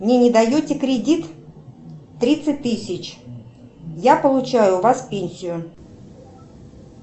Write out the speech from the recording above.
мне не даете кредит тридцать тысяч я получаю у вас пенсию